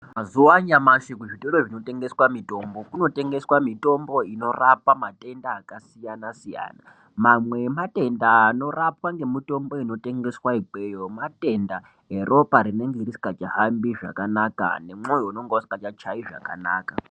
Mazuwa anyamashi muzvitoro zvinotengeswa mitombo, munotengeswa mitombo inorapa matenda akasiyana-siyana. Mamwe ematenda anorapwa ngemitombo inotengeswa ikweyo matenda eropa rinenge risikachahambi zvakanaka nemwoyo unonga usingachachayi zvakanaka.